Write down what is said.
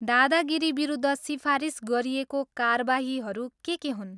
दादागिरीविरुद्ध सिफारिस गरिएको कारबाहीहरू के के हुन्?